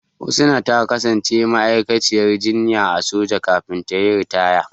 Husna ta kasance ma'aikaciyar jinya a soja kafin ta yi ritaya.